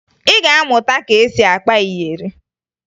Ị ga-amụta ka e si akpa iyeri